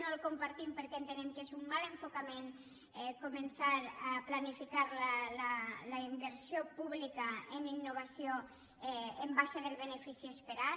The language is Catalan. no el compartim perquè ente·nem que és un mal enfocament començar a planificar la inversió pública en innovació en base al benefici es·perat